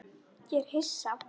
Ég er hissa.